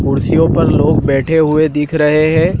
कुर्सियों पर लोग बैठे हुए दिख रहे हैं।